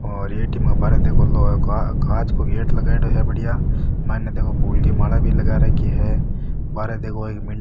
और एटीएम के बार देखो कांच को गेट लगाईडो है बढ़िया माइन देखो फूल की माला भी लगा राखी है बाहर देखो एक म --